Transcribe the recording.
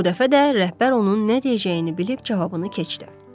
Bu dəfə də rəhbər onun nə deyəcəyini bilib cavabını keçdi.